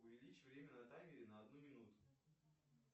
увеличь время на таймере на одну минуту